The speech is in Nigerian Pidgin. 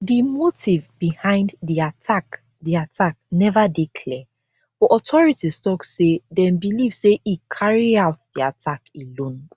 di motive behind di attack di attack neva dey clear but authorities tok say dem believe say e carry out di attack alone